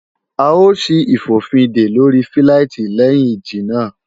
À ó ṣí ìfòfindè lóri fíláìtí léhìn ìjì náà